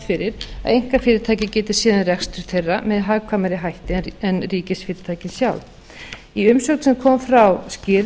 fyrir að einkafyrirtæki geti séð um rekstur þeirra með hagkvæmari hætti en ríkisfyrirtækin sjálf í umsögn sem kom frá skýrr